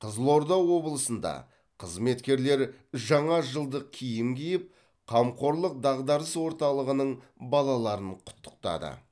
қызылорда облысында қызметкерлер жаңа жылдық киім киіп қамқорлық дағдарыс орталығының балаларын құттықтады